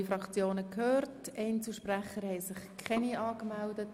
Wir haben alle Fraktionen gehört, und es haben sich keine Einzelsprecher angemeldet.